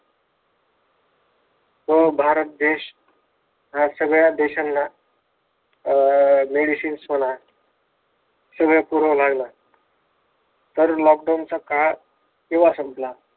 हा भारत देश सगळ्या देशांना अं medicians म्हणा, सगळ पुरायला लागला. तर lockdown चा काळ केव्हा संपला?